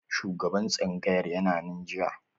Shugaban tsangayar yana nan jiya?